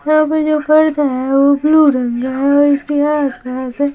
यहाँ पर जो पडदा है वो ब्लू रंग का है और इसके आसपास है।